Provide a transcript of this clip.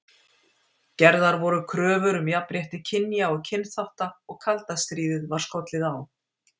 Gerðar voru kröfur um jafnrétti kynja og kynþátta og og kalda stríðið var skollið á.